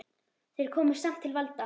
Þeir komust samt til valda.